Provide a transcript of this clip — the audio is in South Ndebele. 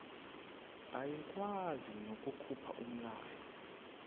ayikwazi nokukhupha umlayo